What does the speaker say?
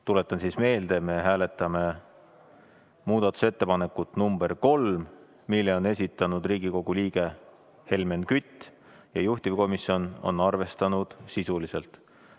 Tuletan meelde, et me hääletame muudatusettepanekut number kolm, mille on esitanud Riigikogu liige Helmen Kütt ja juhtivkomisjon on seda arvestanud sisuliselt.